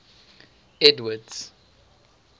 edward's